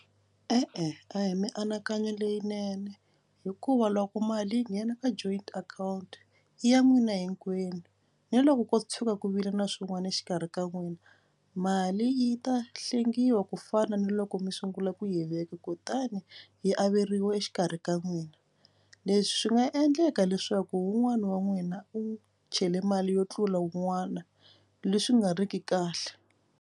E-e a hi mianakanyo leyinene hikuva loko mali yi nghena ka joint account i ya n'wina hinkwenu ni loko ko tshuka ku vile na swin'wana exikarhi ka n'wina mali yi ta hlengiwa ku fana ni loko mi sungula ku yi veka kutani yi averiwa exikarhi ka n'wina. Leswi swi nga endleka leswaku wun'wani wa n'wina u chele mali yo tlula wun'wana leswi nga riki kahle.